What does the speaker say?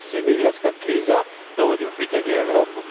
Danas migrantska kriza dovodi u pitanje Europu.